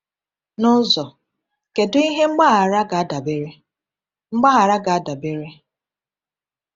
N’ụzọ, kedu ihe mgbaghara ga-adabere? mgbaghara ga-adabere?